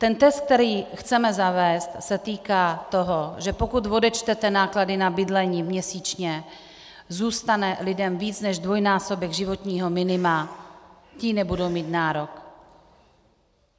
Ten test, který chceme zavést, se týká toho, že pokud odečtete náklady na bydlení měsíčně, zůstane lidem víc než dvojnásobek životního minima, ti nebudou mít nárok.